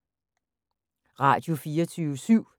Radio24syv